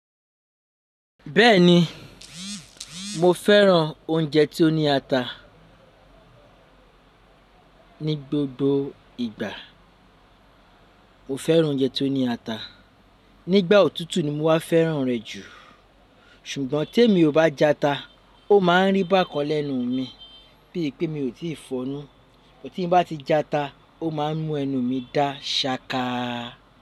Bẹ́ẹ̀ni, mo fẹ́ràn oúnjẹ tí ó ní ata. Ni gbogbo ìgbà, mo fẹ́ràn oúnjẹ tí ó ní ata. Nígbà òtútù ni mo wá fẹ́ràn rẹ̀ jù. Ṣùgbọ́n tí èmi ò bá jata, ó máa ń rí bákan lẹ́nu mi, bí i pé mi ò tíì fọ̀nú. But ti bá ti jata, ó máa ń mú ẹnu mi dá ṣaka.